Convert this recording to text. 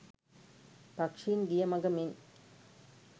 පක්‍ෂීන් ගිය මඟ මෙන්